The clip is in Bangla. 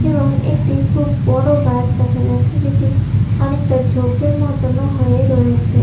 এবং একটি খুব বড় গাছ দেখা যাচ্ছে যেটি অনেকটা ঝোঁপের মতোন ও হয়ে রয়েছে।